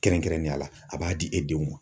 Kɛrɛnkɛrɛnnenya la a b'a di e denw ma.